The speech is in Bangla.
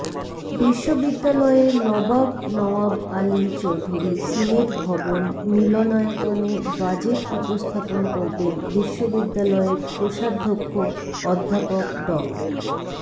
বিশ্ববিদ্যালয়ের নবাব নওয়াব আলী চৌধুরী সিনেট ভবন মিলনায়তনে বাজেট উপস্থাপন করবেন বিশ্ববিদ্যালয়ের কোষাধ্যক্ষ অধ্যাপক ড